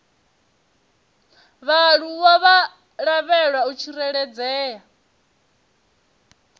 vhaaluwa vha lavhelwa u tsireledzea